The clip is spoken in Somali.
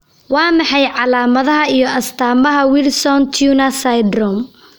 Waa maxay calaamadaha iyo astaamaha Wilson Turner syndrome?